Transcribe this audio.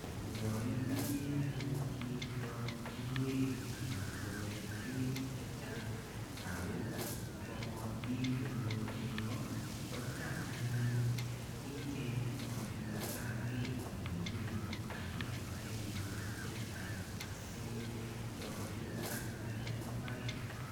Yo itinye anyun chito ingwek anan ko ketik chechang, ako mokotin konyor beeko, kocham anyun ichenye chito tankit nebo beeko akial baibinik che chang asi chopchi anyun eng imbaret.